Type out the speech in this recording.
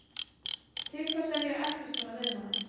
Til hvers er ég að eltast svona við hana?